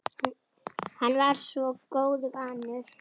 Hann var svo góðu vanur.